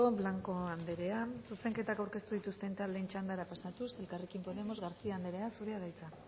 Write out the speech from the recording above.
blanco andrea zuzenketak aurkeztu dituzten taldeen txandara pasatuz elkarrekin podemos garcía andrea zurea da hitza